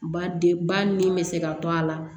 Ba den ba nin bɛ se ka to a la